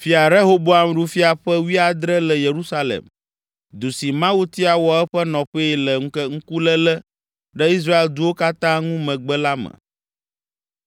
Fia Rehoboam ɖu fia ƒe wuiadre le Yerusalem, du si Mawu tia wɔ eƒe nɔƒee le ŋkuléle ɖe Israel duwo katã ŋu megbe la me.